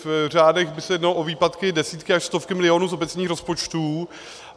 V řádech by se jednalo o výpadky desítky až stovky milionů z obecních rozpočtů.